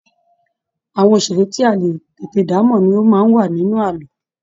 Àwọn òṣeré tí a lè tètè damọ ní o máa n wà nínú ààlọ́.